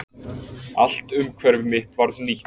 Alt umhverfi mitt varð nýtt.